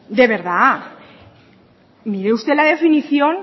de verdad mire usted la definición